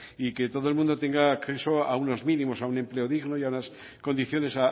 y que todo el mundo tenga acceso a unos mínimos a un empleo digno y a unas condiciones